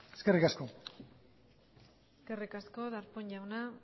eskerrik asko eskerrik asko darpón jauna